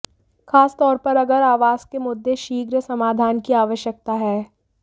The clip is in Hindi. खास तौर पर अगर आवास के मुद्दे शीघ्र समाधान की आवश्यकता है